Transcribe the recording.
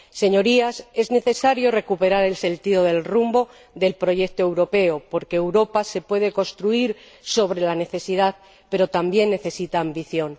Señorías, es necesario recuperar el sentido del rumbo del proyecto europeo, porque Europa se puede construir sobre la necesidad, pero también necesita ambición.